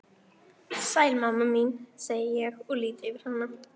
Sæl mamma mín, segi ég og lýt yfir hana.